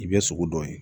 I bɛ sogo dɔ ye